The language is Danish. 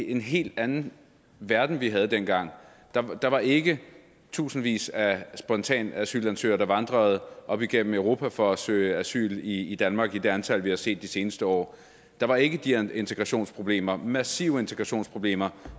en helt anden verden vi havde dengang der der var ikke tusindvis af spontane asylansøgere der vandrede op igennem europa for at søge asyl i i danmark i det antal vi har set de seneste år der var ikke de integrationsproblemer massive integrationsproblemer